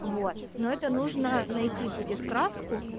вот но это нужно найти будет краску